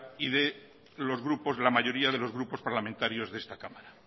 y de la mayoría de los grupos parlamentarios de esta cámara